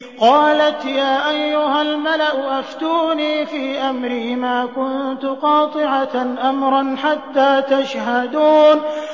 قَالَتْ يَا أَيُّهَا الْمَلَأُ أَفْتُونِي فِي أَمْرِي مَا كُنتُ قَاطِعَةً أَمْرًا حَتَّىٰ تَشْهَدُونِ